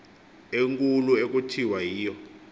enkulu ekuthiwa yiyo